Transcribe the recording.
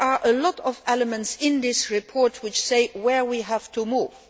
There are many elements in this report, which say where we have to move.